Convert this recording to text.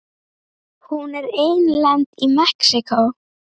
Hún er einlend í Mexíkó.